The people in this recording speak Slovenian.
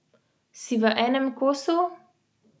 Vmes je bilo ogromno emocij.